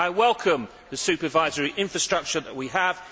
I welcome the supervisory infrastructure that we have.